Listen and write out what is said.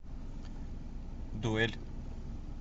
дуэль